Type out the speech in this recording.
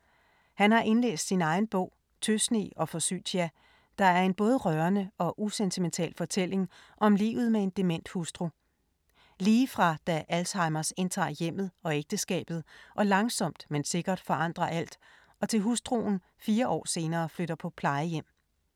Han har indlæst sin egen bog Tøsne og forsytia, der er en både rørende og usentimental fortælling om livet med en dement hustru. Lige fra da Alzheimers indtager hjemmet og ægteskabet og langsomt, men sikkert, forandrer alt, og til hustruen fire år senere flytter på plejehjem.